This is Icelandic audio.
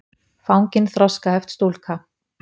fangin þroskaheft stúlka.